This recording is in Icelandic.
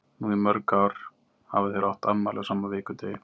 Nú í mörg ár hafa þeir átt afmæli á sama vikudegi.